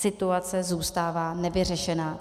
Situace zůstává nevyřešená.